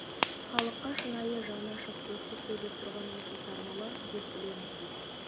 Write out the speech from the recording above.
халыққа шынайы жаны ашып достық сөйлеп тұрған осы сармолла деп білеміз біз